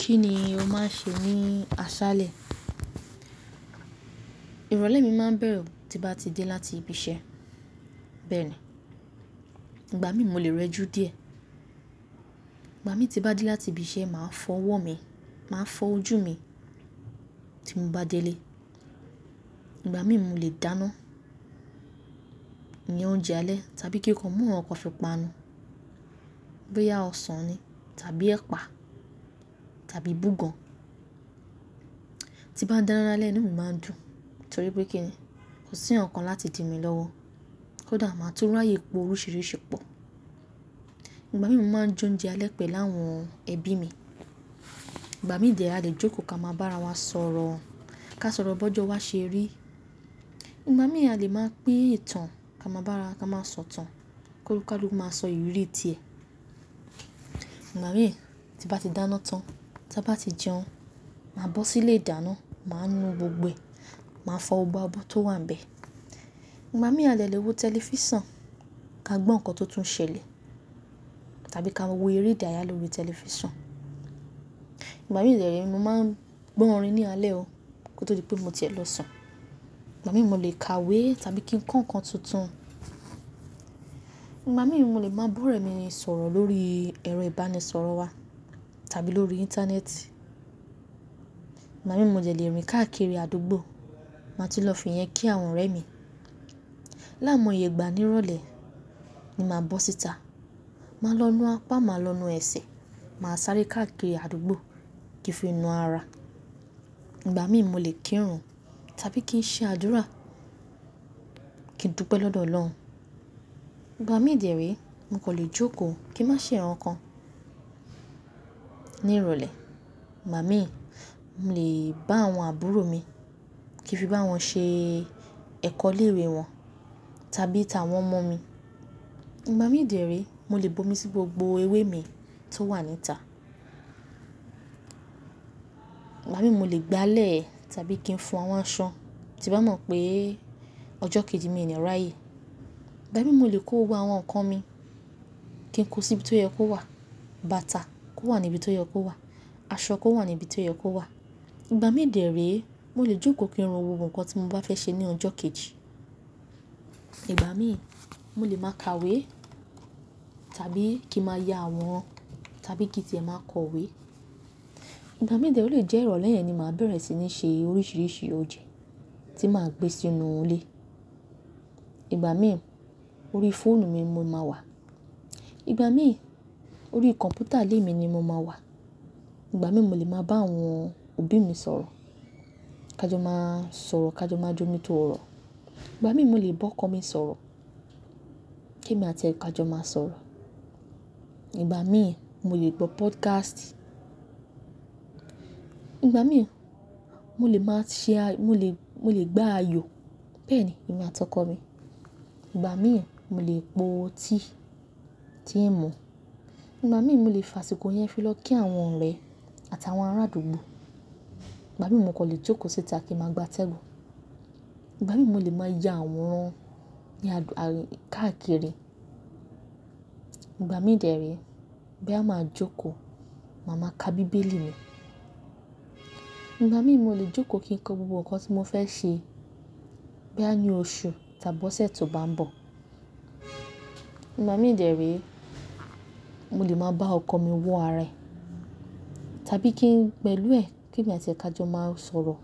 Kí ni o máa ń ṣe ní aṣálẹ̀? Ìrọ̀lẹ́ mi máa ń bẹ̀rẹ̀ tí bá ti dé láti ibi iṣẹ́. Bẹ́ẹ̀ ni, ìgbà mí mo lè rẹjú dí ẹ̀. Ìgbà tí bá dé láti ibi iṣẹ́, màá fọ ọwọ́ mi, màá fọ ojú mi tí mo bá délé. Ìgbà mí mo lè dáná ní oúnjẹ alẹ́ tàbí kí nko mú nkan kan fi pá nù. Bi oya ósàn ni tàbí ẹ̀pà tàbí búgàn. Ti bá dáná lálẹ́, inú mi máa ń dùn torí pé kí ni kò sí nkan kan láti di mi lọ́wọ́ kó dà máa tú ri ayé po oríṣìíríṣìí pó. Ìgbà mí mo máa je óúnjẹ alẹ́ pẹ̀lú àwọn ẹbí mi. Ìgbà mí dè re, a lè jókòó ká máa bá ara wa sọ̀rọ̀, ká sọ̀rọ̀ bọ́jọ́, wa ṣe ri. Ìgbà mí a lè máa pín ìtàn ká máa bá ara ká máa sọ ìtàn, koni kàluku máa sọ ìrírí ti ẹ́. Ìgbà mí, tí bá ti dáná tá bá ti jẹun, màá bọ́ sí ilé ìdáná, màá nu gbogbo ẹ̀, màá fọ ọgbà òbò tó wà níbẹ̀. Ìgbà mí a lè lè wo tẹlifísàn, ká gbọ́ nǹkan tó tún ṣẹlẹ̀ tàbí ká wo eré ìdárayá lórí tẹlifísàn. Ìgbà mí dè rè, mo máa ń gbọ́ orin ní alẹ́ o kí ó tó di pé mo sẹ̀ lọ sùn. Ìgbà mí mo lè ka ìwé tàbí kí n kọ nǹkan tuntun. Ìgbà mí mo lè máa ba ọ̀rẹ́ mi sọ̀rọ̀ lórí ẹ̀rọ ìbánisọ̀rọ̀ wa tàbí lórí Íńtánẹ́ẹ̀tì. Ìgbà mí mo jẹ̀ lè rìn káàkiri àdúgbò, màá ti lọ fi yẹn kí àwọn ọ̀rẹ́ mi. Lai mo yègbà nírọ̀lẹ́ ni màá bọ́ síta. Màá lọ nu apá, màá lọ nu ẹsẹ̀, màá sáré káàkiri àdúgbò kí fi nu ara. Ìgbà mí mo lè kírun tàbí kí n ṣe àdúrà, kí n dúpẹ́ lọ́dọ̀ Ọlọ́run. Ìgbà mí dè érè, mo kò lè jókòó kí n má ṣe nkan kan. Ní ìrọ̀lẹ́, Ìgbà mí, mo lè bá àwọn àbúrò mi kí fi bá wọn ṣe ẹ̀kọ́ ile iwe wọn tàbí tàwọn mọ̀ mi. Ìgbà mí dè érè, mo lè bomi sí gbogbo ewé mi tó wà níta. Ìgbà mí mo lè gbálẹ̀ tàbí kí n fún àwọn aṣan tí bá mọ̀ pé ọjọ́ kejì mi ni ráyé. Ìgbà mí mo lè kó gbogbo àwọn nkan mi kí n kó sí ibi tó yẹ kó wà, bàtà kó wà níbi tó yẹ kó wà, aṣọ kó wà níbi tó yẹ kó wà. Ìgbà mí dè rè, mo lè jókòó kín ro gbogbo nkan tí mo bá fẹ́ ṣe ní ọjọ́ kejì. Ìgbà mí, mo lè máa ka ìwé tàbí kí màá ya àwòrán tàbí kí tẹ̀ ẹ́ máa kọ ìwé. Ìgbà mí dè o lè jẹ́ ìrọ̀lẹ́ yẹn ni màá bẹ̀rẹ̀ sí ní ṣe oríṣìíríṣìí oúnjẹ tí màá gbé sínú ilé. Ìgbà mí, orí fóònù mi mo máa wà. Ìgbà mí, orí kọ̀ǹpútà ilé mi ni mo máa wà. Ìgbà mí mo lè máa bá àwọn òbí mi sọ̀rọ̀, ká jọ má sọ̀rọ̀, ká jọ má jómi tó ọ̀rọ̀. Ìgbà mí mo lè bọ́ ọkọ mi sọ̀rọ̀ kí èmi àti ẹ ká jọ má sọ̀rọ̀. Ìgbà mí, mo lè gbọ́ pódkástì. Ìgbà mí, mo lè máa ṣe a mo lè, mo lè gbá ayò, bẹ́ẹ̀ ni, èmi àti ọkọ mi. Ìgbà mí, mo lè po tí tí ń mu. Ìgbà mí mo lè fa àsìkò yẹn fí lọ kí àwọn ọ̀rẹ́ àti àwọn ará àdúgbò. Ìgbà mí mo kò lè jókòó síta kí n máa gbá tẹníìsì. Ìgbà mí mo lè máa ya àwòrán ní ààkìkiri. Ìgbà mí dè érè, bí a máa jókòó, màá máa ka bíbélì mi. Ìgbà mí mo lè jókòó kí n kọ gbogbo nǹkan tí mo fẹ́ ṣe bí a ní oṣù tàbí ọ̀sẹ̀ tó bá ń bọ̀. Ìgbà mí dè érè, mo lè máa bá ọkọ mi wo ara rẹ̀ tàbí kí n pẹ̀lú ẹ kí èmi àti ẹ ká jọ má sọ̀rọ̀.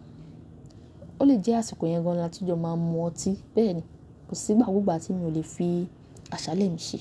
O lè jẹ́ àsìkò yẹn gan láti jọ máa mú ọtí. Bẹ́ẹ̀ ni, kò sí ìgbà gbogbo tí mi ò lè fi aṣálẹ̀ mi ṣe.